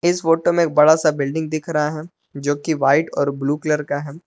इस फोटो में एक बड़ा सा बिल्डिंग दिख रहा है जो कि व्हाइट और ब्लू कलर का है।